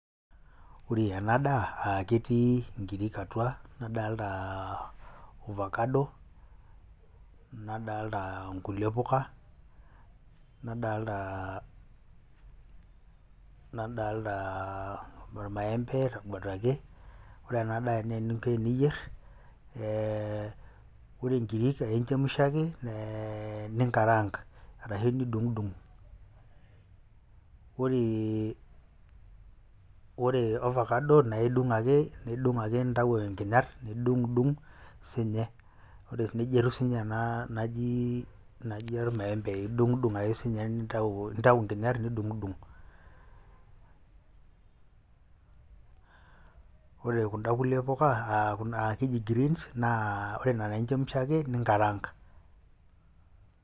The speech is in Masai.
Ore ena daa aa ketii ikirik atua, nadalta ovacado, nadalta nkulie puka, nadalta nadaaltaa ormaembe itubuitaki. Ore ena daa naa eninko eniyer ee re inkirik aake inchemusha ake ee ninkarank arashe nidung'dung'. Ore ore ovacado nae idung'ake nidung' ake nintayu inkinyat nidung'dung' siinye. Ore neija etiu siinye ena naaji naaji ormaembei, idung'dung' ake siinye nintau nintau inkinyat nidung'dung'. Ore kunda kulie puka aa ake eji greens, naa ore nena aake inchemsha ake ninkaraank.